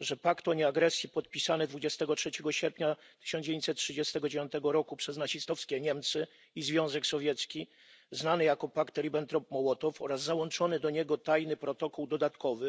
że pakt o nieagresji podpisany 23 sierpnia 1939 roku przez nazistowskie Niemcy i Związek Sowiecki, znany jako pakt Ribbentrop Mołotow, oraz załączony do niego tajny protokół dodatkowy,